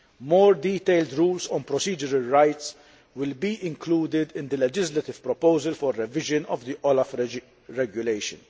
More detailed rules on procedural rights will be included in the legislative proposal for revision of the OLAF regulation.